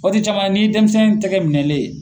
Waati caman na ni ye dɛnmisɛn tɛgɛ minɛlen ye